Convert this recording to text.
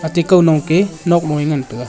ate kownok a nokmo a ngan tega.